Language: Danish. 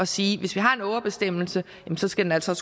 sige at hvis vi har en ågerbestemmelse skal den altså